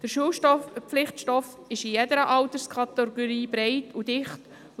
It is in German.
Der Schulpflichtstoff ist in jeder Alterskategorie breit und dicht.